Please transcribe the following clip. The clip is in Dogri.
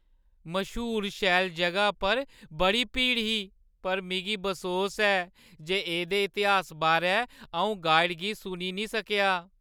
मश्हूर शैल ज‘गा पर बड़ी भीड़ ही पर मिगी बसोस ऐ जे एह्दे इतिहास बारै अऊं गाइड गी सुनी निं सकेआ ।